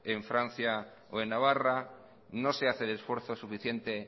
en francia o en navarra no se hace el esfuerzo suficiente